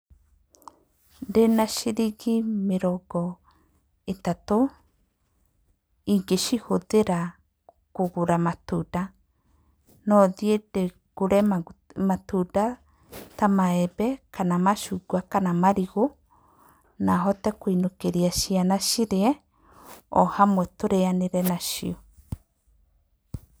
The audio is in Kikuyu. Ndĩna ciringi mĩrongo ĩtatũ, ingĩcihũthĩra kũgũra matunda, no thiĩ ndĩ ngũre matunda ta maembe, kana macungwa, kana marigũ, na hote kũinũkĩria ciana cirie, o hamwe tũrĩanĩre nacio.